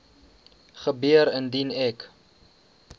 gebeur indien ek